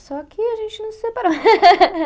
Só que a gente não se separou.